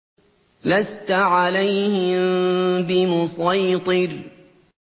لَّسْتَ عَلَيْهِم بِمُصَيْطِرٍ